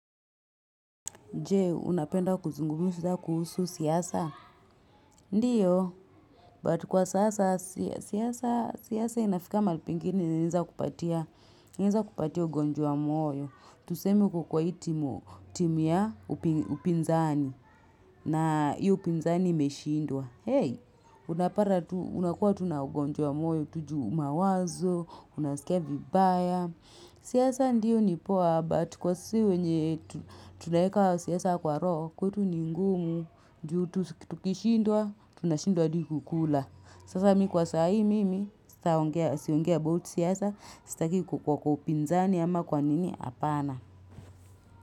Jee, unapenda kuzungumza kuhusu siasa? Ndio, but kwa sasa siasa inafika mahali pingine, inaweza kukupatia ugonjwa wa moyo. Tuseme uko kwa hii timuu ya upinzani, na iyo upinzani imeshindwa. Hey, unapata unakuwa tu na ugonjwa wa moyo, tu juu mawazo, unasikia vibaya. Siasa ndiyo ni poa but kwa si wenye kuwe siasa kwa roho kwetu ni ngumu Ju tukishindwa Tunashindwa adi kukula Sasa mii kwa saa hii mimi sitaongea Siongea about siasa Sitaki kukuwa kwa upinzani Ama kwa nini hapana.